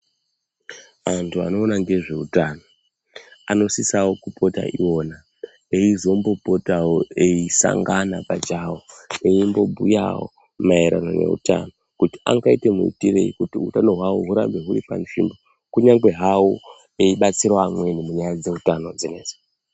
Antu anoona nezvehutano anosisawo kupota eiona eizombopotawo eisangana eimbobhuyawo maererano nehutano kuti angaite muitirei hutano hwavo hurambe huri panzvimbo kunyange havo eidetsera amweni munyaya dzehutano idzi.